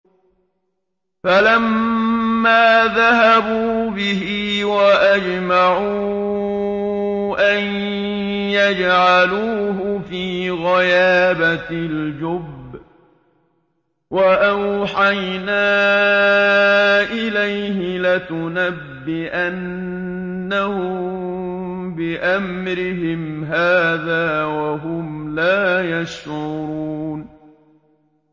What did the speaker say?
فَلَمَّا ذَهَبُوا بِهِ وَأَجْمَعُوا أَن يَجْعَلُوهُ فِي غَيَابَتِ الْجُبِّ ۚ وَأَوْحَيْنَا إِلَيْهِ لَتُنَبِّئَنَّهُم بِأَمْرِهِمْ هَٰذَا وَهُمْ لَا يَشْعُرُونَ